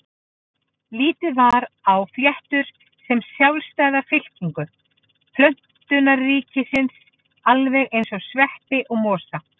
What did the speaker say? Litið var á fléttur sem sjálfstæða fylkingu plönturíkisins alveg eins og sveppi og mosa.